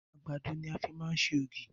Àgbàdo ni a fi máa ń ṣe ògì